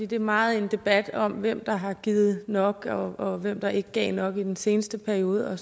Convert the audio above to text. det er meget en debat om hvem der har givet nok og og hvem der ikke gav nok i den seneste periode og